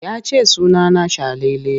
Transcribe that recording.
Ya ce suna na Salele.